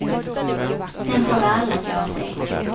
Den borde alla gå och se.